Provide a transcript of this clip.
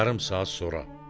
Yarım saat sonra.